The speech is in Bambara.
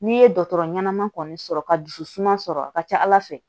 N'i ye dɔgɔtɔrɔ ɲɛnama kɔni sɔrɔ ka dusu suma sɔrɔ a ka ca ala fɛ